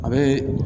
A bɛ